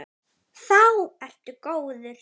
Þá ertu góður.